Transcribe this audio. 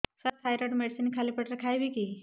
ସାର thyroid medicine ଖାଲି ପେଟରେ ଖାଇବି କି